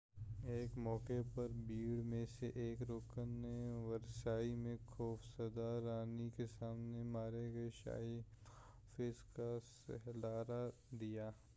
ایک موقع پر بھیڑ میں سے ایک رکن نے ورسائی میں خوف زدہ رانی کے سامنے مارے گئے شاہی محافظ کا سر لہرا دیا